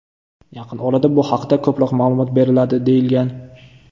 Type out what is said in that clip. Yaqin orada bu haqda ko‘proq ma’lumot beriladi”, deyilgan.